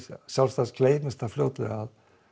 sjálfsagt gleymist það fljótlega